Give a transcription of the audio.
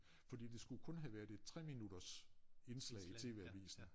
Fordi det skulle kun have været et 3 minutters indslag i TV Avisen